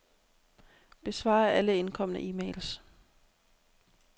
Besvar alle indkomne e-mails.